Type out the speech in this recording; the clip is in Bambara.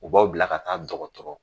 U b'aw bila ka taa dɔgɔtɔrɔ